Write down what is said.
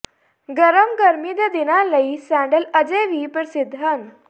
ਗਰਮ ਗਰਮੀ ਦੇ ਦਿਨਾਂ ਲਈ ਸੈਂਡਲ ਅਜੇ ਵੀ ਪ੍ਰਸਿੱਧ ਹਨ